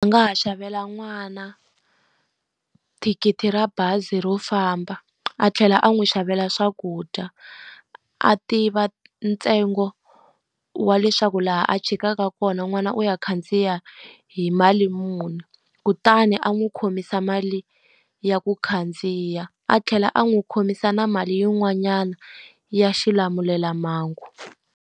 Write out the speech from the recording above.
A nga ha xavela n'wana thikithi ra bazi ro famba, a tlhela a n'wi xavela swakudya. A tiva ntsengo wa leswaku laha a tshikaka kona mhana n'wana u ya khandziya hi mali muni, kutani a n'wi khomisa mali ya ku khandziya. A tlhela a n'wi khomisa na mali yin'wanyana ya xilamulelamhangu.